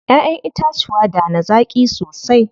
Ƴaƴen itacuwa da na zaƙi sosai.